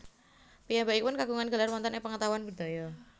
Piyambakipun kagungan gelar wonten ing pengetahuan budaya